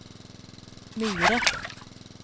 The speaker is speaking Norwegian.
Myre